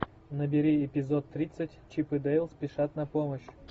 набери эпизод тридцать чип и дейл спешат на помощь